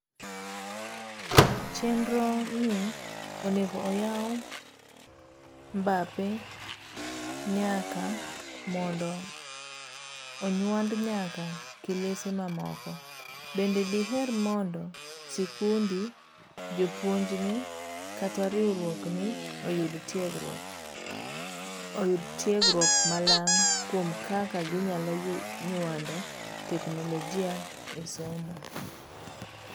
Chenro ni onego oyaw mbape nyaka mondo onyuand nyaka kilese mamoko' Bende diher mondo sikundi, jopuonjni kata riwruokni oyud tiegruok mamalang' kuom kaka ginyalo nyuando teknologia e somo.?